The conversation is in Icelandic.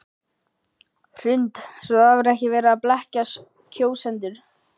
Hrund: Svo það var ekki verið að blekkja kjósendur?